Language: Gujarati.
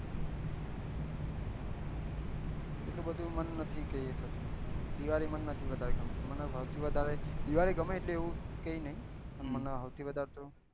એટલું બધું મન નથી કે થથું દિવાળી મન નથી વધાર ગમતું મને હવ થી વધારે દિવાળી ગમે એટલે એવું કઈ નહી